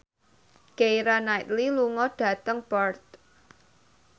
Keira Knightley lunga dhateng Perth